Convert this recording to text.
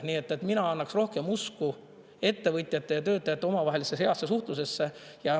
Nii et mina annaks rohkem usku ettevõtjate ja töötajate omavahelisse heasse suhtlusesse.